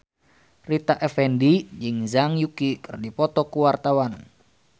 Rita Effendy jeung Zhang Yuqi keur dipoto ku wartawan